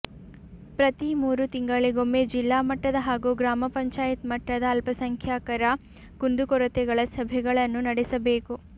ಪ್ರತಿ ಮೂರು ತಿಂಗಳಿಗೊಮ್ಮೆ ಜಿಲ್ಲಾ ಮಟ್ಟದ ಹಾಗೂ ಗ್ರಾಮ ಪಂಚಾಯತ್ ಮಟ್ಟದ ಅಲ್ಪಸಂಖ್ಯಾಕರ ಕುಂದುಕೊರತೆಗಳ ಸಭೆಗಳನ್ನು ನಡೆಸಬೇಕು